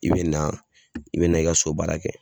I bɛ na i bɛ na i ka so baara kɛ.